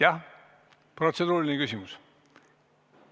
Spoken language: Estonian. Jah, kas protseduuriline küsimus?